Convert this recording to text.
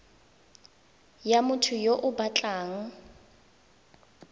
ya motho yo o batlang